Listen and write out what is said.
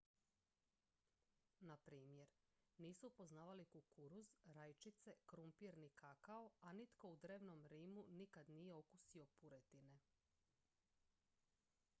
na primjer nisu poznavali kukuruz rajčice krumpir ni kakao a nitko u drevnom rimu nikad nije okusio puretine